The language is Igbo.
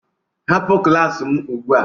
Hapụ klas m ugbu a!